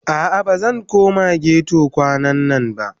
A'a bazan koma ghetto kwanannan ba